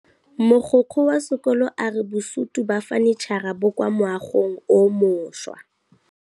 Mogokgo wa sekolo a re bosutô ba fanitšhara bo kwa moagong o mošwa.